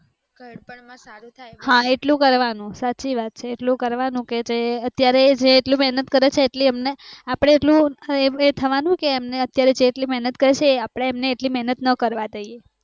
હા એટલું કરવાનું સાચી વાત છે એટલું કરવાનું કે જે અત્યારે જે એ એટલી મહેનત કરે છે એટલી એમને અપડે એટલું, એ થવાનું કે આપણે એમને એ અત્યારે જેટલી મહેનત કરે છે એ અપડે એટલી મહેનત ના કરવા દઈએ